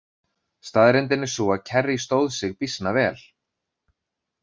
Staðreyndin er sú að Kerry stóð sig býsna vel.